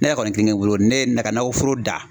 Ne yɛrɛ kɔni kile kelen bolo ne ye ka nakɔforo da